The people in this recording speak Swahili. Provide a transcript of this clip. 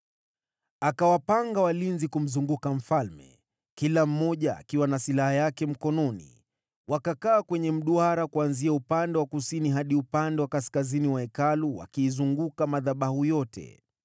Akawapanga walinzi wote kumzunguka mfalme, kila mmoja akiwa na silaha yake mkononi mwake, karibu na madhabahu na Hekalu, kuanzia upande wa kusini hadi upande wa kaskazini mwa Hekalu.